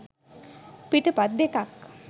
පිටපත් දෙකක්.